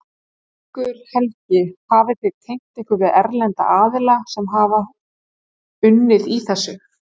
Haukur Helgi: Hafið þið tengt ykkur við erlenda aðila sem að hafa unnið í þessu?